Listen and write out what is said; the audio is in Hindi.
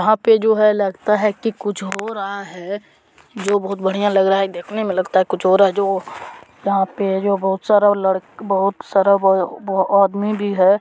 वहा पे जो है लगता है की कुछ हो रहा है जो बहुत बढ़िया लग रहा है देखने में लगता कुछ हो रहा है जो वहा पे बहुत सारे बहुत सारे बहुत आदमी भी है।